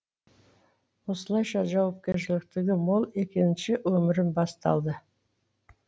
осылайша жауапкершіліктігі мол екінші өмірім басталды